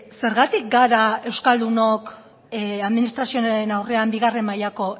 zergatik gara euskaldunok administrazioaren aurrean bigarren mailako